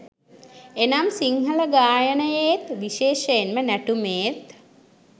එනම් සිංහල ගායනයේත්, විශේෂයෙන්ම නැටුමේත්